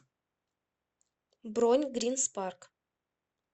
бронь грин спарк